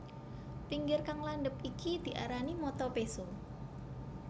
Pinggir kang landhep iki diarani mata péso